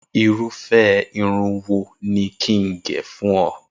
Irúfẹ́ irun wo ni kí n gẹ̀ fún ọ?